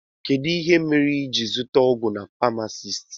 Kedụ ihe mere iji wee zụta ọgwụ na pamasist?